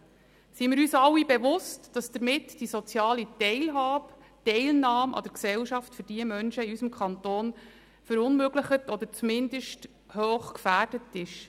Seien wir uns alle bewusst, dass damit die soziale Teilhabe und Teilnahme an der Gesellschaft für diese Menschen in unserem Kanton verunmöglicht wird oder zumindest hoch gefährdet ist.